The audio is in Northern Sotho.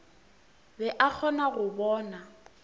be a kgona go bona